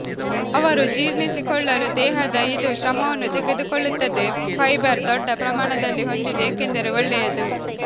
ಅವರು ಜೀರ್ಣಿಸಿಕೊಳ್ಳಲು ದೇಹದ ಇದು ಶ್ರಮವನ್ನು ತೆಗೆದುಕೊಳ್ಳುತ್ತದೆ ಫೈಬರ್ ದೊಡ್ಡ ಪ್ರಮಾಣದಲ್ಲಿ ಹೊಂದಿದೆ ಏಕೆಂದರೆ ಒಳ್ಳೆಯದು